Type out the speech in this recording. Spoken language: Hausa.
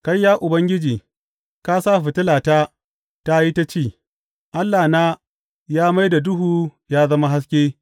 Kai Ya Ubangiji, ka sa fitilata ta yi ta ci; Allahna ya mai da duhu ya zama haske.